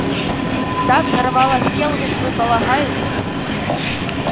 да взорвалась кэлвин вы полагаете